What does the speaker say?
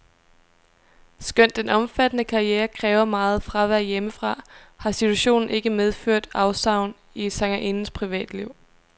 Skønt den omfattende karriere kræver meget fravær hjemmefra, har situationen ikke medført afsavn i sangerindens privatliv.